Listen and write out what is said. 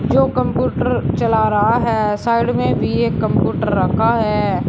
जो कंप्यूटर चला रहा है साइड में भी एक कंप्यूटर रखा है।